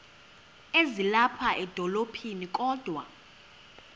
ezilapha edolophini kodwa